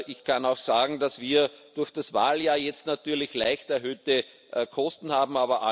Ich kann auch sagen, dass wir durch das Wahljahr jetzt natürlich leicht erhöhte Kosten haben.